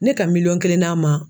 Ne ka miliyɔn kelen d'a ma.